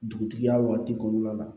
Dugutigiya waati kɔnɔna la